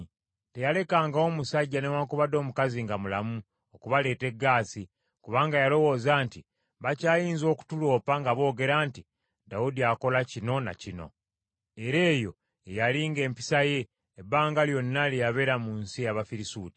Teyalekangawo musajja newaakubadde omukazi nga mulamu okubaleeta e Gaasi, kubanga yalowooza nti, “Bakyayinza okutuloopa, nga boogera nti, ‘Dawudi akola kino na kino.’ ” Era eyo ye yali ng’empisa ye, ebbanga lyonna lye yabeera mu nsi ey’Abafirisuuti.